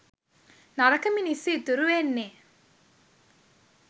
නරක මිනිස්සු ඉතුරු වෙන්නේ